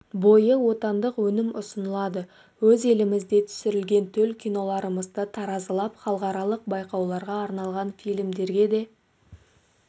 бойы отандық өнім ұсынылады өз елімізде түсірілген төл киноларымызды таразылап халықаралық байқауларға арналған фильмдерге де